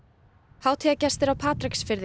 hátíðargestir á Patreksfirði